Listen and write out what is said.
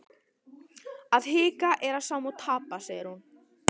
Að hika er sama og tapa, segir hún.